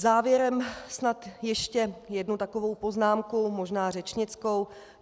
Závěrem snad ještě jednu takovou poznámku, možná řečnickou.